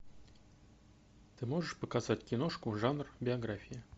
ты можешь показать киношку жанр биография